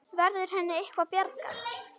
Verður henni eitthvað bjargað?